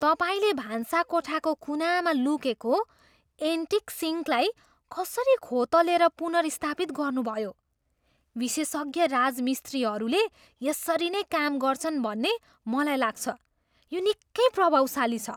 तपाईँले भान्साकोठाको कुनामा लुकेको एन्टिक सिङ्कलाई कसरी खोतलेर पुनर्स्थापित गर्नुभयो। विशेषज्ञ राजमिस्त्रीहरूले यसरी नै काम गर्छन् भन्ने मलाई लाग्छ। यो निकै प्रभावशाली छ।